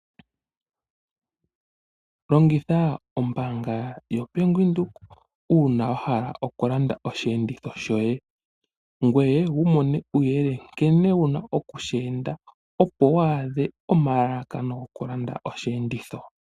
Longitha ombanga yoBank Windhoek uuna wahala okulanda osheenditho shoye, ngoye wiimonene uuyelele nkene wuna oku sheenda opo waadhe omalalakano gokulanda osheenditho shoye.